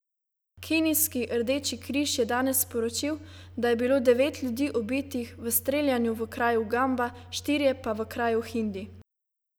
Kenijski rdeči križ je danes sporočil, da je bilo devet ljudi ubitih v streljanju v kraju Gamba, štirje pa v kraju Hindi.